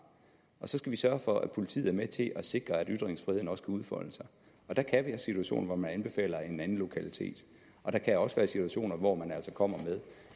og så skal vi sørge for at politiet er med til at sikre at ytringsfriheden også kan udfolde sig der kan være situationer hvor man anbefaler en anden lokalitet og der kan også være situationer hvor man altså kommer med